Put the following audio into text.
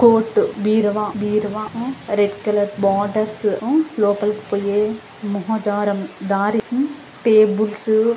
court బీరువా బీరువా ఆ రెడ్ కలర్ బోర్డ్స్ ఆ లోపాలకి పోయే మహా ద్వారం దారి టేబుల్స్ --